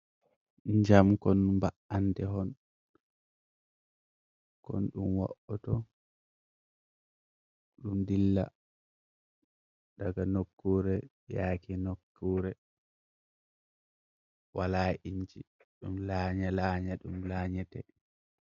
Jam kon ba’ante hon kon dum wa'oto, ɗum dilla daga nokkure yake nokkure wala inji ɗum lanya lanya ɗum lanyate.